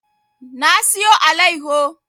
Na siyo allayaho